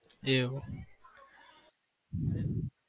એવું